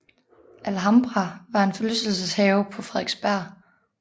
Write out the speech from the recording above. Alhambra var en forlystelseshave på Frederiksberg